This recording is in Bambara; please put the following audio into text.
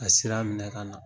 Ka sira minɛ ka na